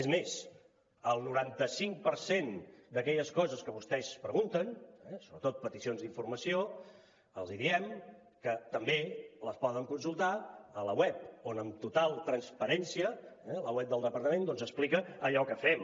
és més el noranta cinc per cent d’aquelles coses que vostès pregunten eh sobretot peticions d’informació els diem que també les poden consultar al web on amb total transparència el web del departament doncs explica allò que fem